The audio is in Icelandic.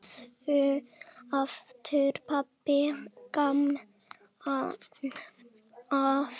Þessu hafði pabbi gaman af.